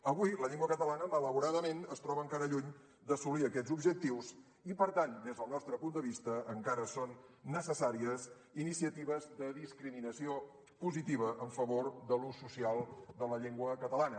avui la llengua catalana malauradament es troba encara lluny d’assolir aquests objectius i per tant des del nostre punt de vista encara són necessàries iniciatives de discriminació positiva en favor de l’ús social de la llengua catalana